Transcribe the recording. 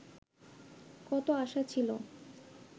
কত আশা ছিল